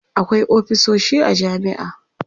akwai ofisoshi a jami'a